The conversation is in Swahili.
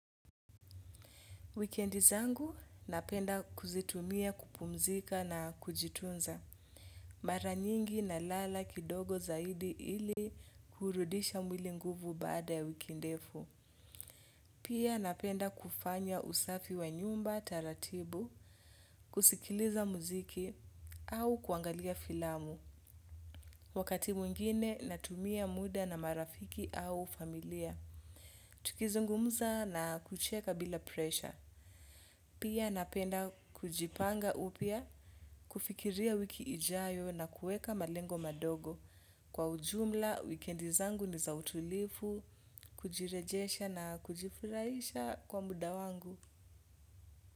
Wikendi zangu napenda kuzitumia kupumzika na kujitunza. Mara nyingi nalala kidogo zaidi ili kurudisha mwili nguvu baada ya wiki ndefu. Pia napenda kufanya usafi wa nyumba taratibu, kusikiliza muziki au kuangalia filamu. Wakati mwingine natumia muda na marafiki au familia. Tukizungumza na kucheka bila presha. Pia napenda kujipanga upya kufikiria wiki ijayo na kuweka malengo madogo. Kwa ujumla, wikendi zangu ni za utulivu, kujirejesha na kujifurahisha kwa muda wangu.